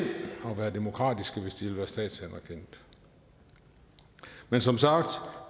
og være demokratiske hvis de ville være statsanerkendte men som sagt